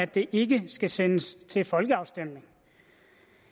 det ikke skal sendes til folkeafstemning